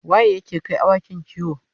waye yake Kai awakin kiwo?